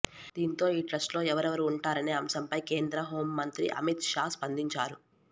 దీంతో ఈ ట్రస్ట్లో ఎవరెవరు ఉంటారనే అంశంపై కేంద్ర హోం మంత్రి అమిత్ షా స్పందించారు